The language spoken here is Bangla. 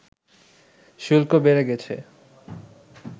শুল্ক বেড়ে গেছে